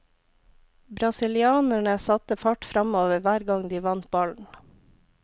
Brasilianerne satte fart framover hver gang de vant ballen.